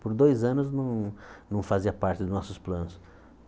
Por dois anos não não fazia parte dos nossos planos.